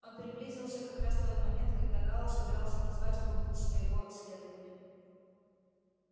он приблизился как раз в тот момент когда гаал собирался назвать пункт своего следования